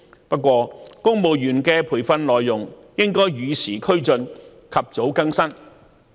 不過，公務員的培訓內容應該與時俱進，及早更新。